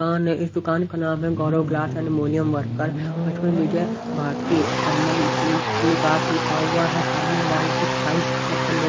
दुकान है इस दुकान का नाम है गौरव ग्लास एंड मोलियम वर्कर इसमें विजय भारतीय संबंध विकास लिखा हुआ है सामने वाले कुछ साइज चेक करने--